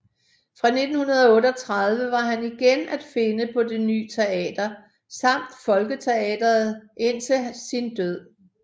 Fra 1938 var han igen at finde på Det Ny Teater samt Folketeatret indtil sin død